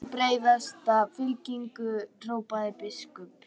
Myndið sem breiðasta fylkingu, hrópaði biskup.